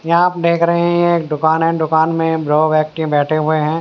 यहाँ आप देख रहे हैं एक दुकान है दुकान में लोग आके के बैठे हुए हैं।